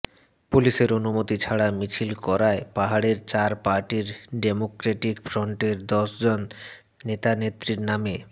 পুলিশের অনুমতি ছাড়া মিছিল করায় পাহাড়ের চার পার্টির ডেমোক্রেটিক ফ্রন্টের দশ জন নেতানেত্রীর নামে